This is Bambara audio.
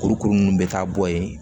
Kurukuru ninnu bɛ taa bɔ yen